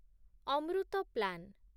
Amrit plan